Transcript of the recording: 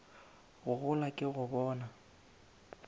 go gola ke go bona